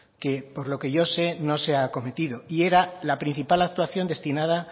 que por lo que yo sé no se ha acometido y era la principal actuación destinada